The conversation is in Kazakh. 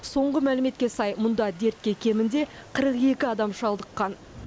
соңғы мәліметке сай мұнда дертке кемінде қырық екі адам шалдыққан